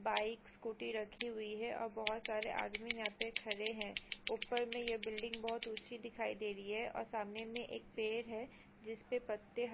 वाइकस scooty रखि हुई है। और बहुत सारे आदमी यहां पे खड़े हैं। ऊपर में यह बिल्डिंग बहुत ऊंची दिखाई दे रही है और सामने में एक पेड़ है। जिस पे पत्ते ह--